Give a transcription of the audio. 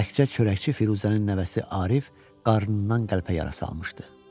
Təkcə çörəkçi Firuzənin nəvəsi Arif qarnından qəlpə yara salmışdı.